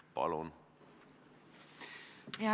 Palun!